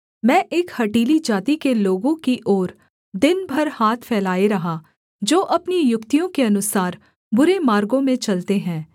मैं एक हठीली जाति के लोगों की ओर दिन भर हाथ फैलाए रहा जो अपनी युक्तियों के अनुसार बुरे मार्गों में चलते हैं